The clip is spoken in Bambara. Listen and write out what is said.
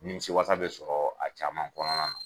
Nimisiwasa be sɔrɔ a caman kɔnɔna na